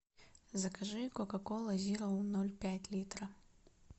закажи кока кола зеро ноль пять литра